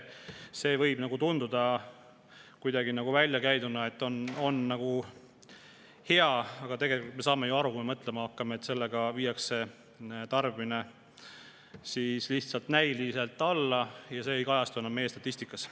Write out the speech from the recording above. See võib tunduda isegi hea, niimoodi väljakäiduna, aga tegelikult me saame ju aru, kui me mõtlema hakkame, et sellega viiakse lihtsalt näiliselt tarbimine alla, aga ei kajastu enam meie statistikas.